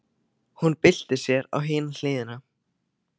Hún byltir sér á hina hliðina.